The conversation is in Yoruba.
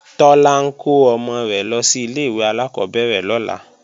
Tọ́lá ń kó ọmọ rẹ̀ lọ sí ilé-ìwé alákọ́bẹ̀rẹ̀ lọ́la